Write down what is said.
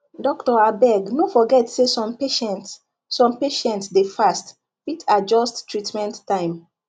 doctor abeg no forget say some patients some patients dey fast fit adjust treatment time